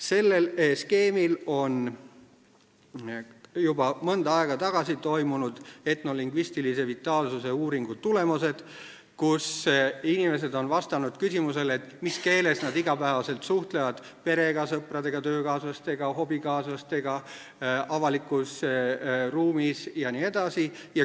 Sellel skeemil on juba mõnda aega tagasi toimunud etnolingvistilise vitaalsuse uuringu tulemused, kus inimesed on vastanud küsimusele, mis keeles nad iga päev suhtlevad perega, sõpradega, töökaaslastega, hobikaaslastega, avalikus ruumis jne.